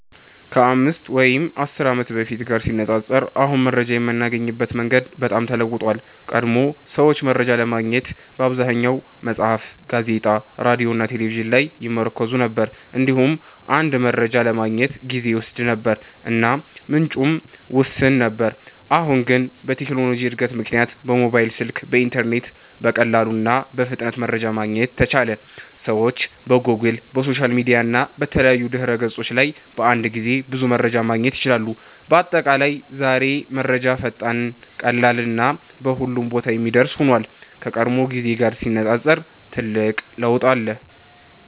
ከ5 ወይም 10 ዓመት በፊት ጋር ሲነፃፀር አሁን መረጃ የምናገኝበት መንገድ በጣም ተለውጧል። ቀድሞ ሰዎች መረጃ ለማግኘት በአብዛኛው መጽሐፍት፣ ጋዜጣ፣ ሬዲዮ እና ቴሌቪዥን ላይ ይመርኩዙ ነበር። እንዲሁም አንድ መረጃ ለማግኘት ጊዜ ይወስድ ነበር እና ምንጩም ውስን ነበር። አሁን ግን በቴክኖሎጂ እድገት ምክንያት በሞባይል ስልክ እና በኢንተርኔት በቀላሉ እና በፍጥነት መረጃ ማግኘት ተቻለ። ሰዎች በጎግል፣ በሶሻል ሚዲያ እና በተለያዩ ድህረ ገጾች ላይ በአንድ ጊዜ ብዙ መረጃ ማግኘት ይችላሉ። በአጠቃላይ ዛሬ መረጃ ፈጣን፣ ቀላል እና በሁሉም ቦታ የሚደርስ ሆኗል፤ ከቀድሞው ጊዜ ጋር ሲነፃፀር ትልቅ ለውጥ አለ።